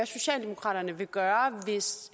socialdemokraterne vil gøre hvis